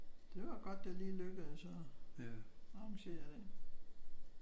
Det var godt det lige lykkedes at arrangere det